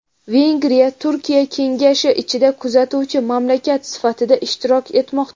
Vengriya Turkiy kengash ishida kuzatuvchi mamlakat sifatida ishtirok etmoqda.